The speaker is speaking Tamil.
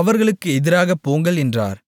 அவர்களுக்கு எதிராகப் போங்கள் என்றார்